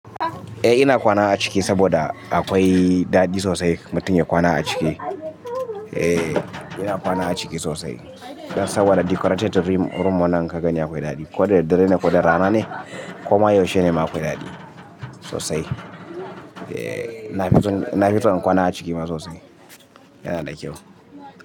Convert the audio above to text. Eh ina kwana a ciki saboda akwai daɗi sosai mutum ya kwana a ciki. Eh ina kwana a ciki sosai. Dan saboda decorated room wannan ka gani akwai daɗi. Ko da dare ne ko da rana ne koma yaushe ne ma akwai daɗi sosai. Eh na fi son, na fi son in kwana a ciki sosai. Yana da kyau.